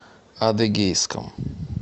адыгейском